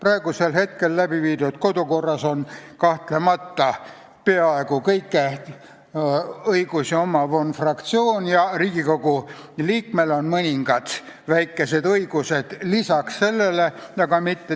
Kehtiva kodukorra järgi on kõige olulisem kahtlemata peaaegu kõiki õigusi omav fraktsioon ja Riigikogu liikmel on vaid mõningad väikesed õigused sellele lisaks.